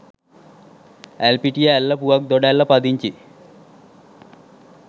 ඇල්පිටිය ඇල්ල පුවක් දොඩැල්ල පදිංචි